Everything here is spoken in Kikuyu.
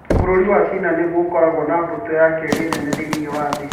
Bũrũri wa China nĩguo ũkoragwo na mbũtũ ya kerĩ nene thĩinĩ wa thĩ.